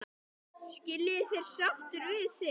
Skilja þeir sáttir við þig?